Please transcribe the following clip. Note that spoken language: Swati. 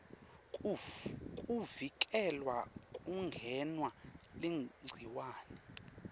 kuvikela kungenwa ligciwane